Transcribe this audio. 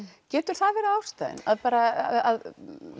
getur það verið ástæðan að